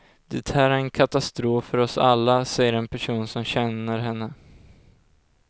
Det här är en katastrof för oss alla, säger en person som känner henne.